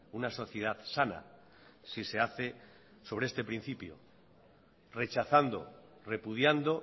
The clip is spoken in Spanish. una sociedad sana si se hace sobre este principio rechazando repudiando